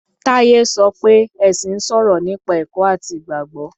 Táyé sọ oé ẹ̀sìn ń sọ̀rọ̀ nípa ẹ̀kọ́ àti Ìgbàgbọ́.